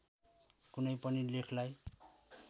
कुनै पनि लेखलाई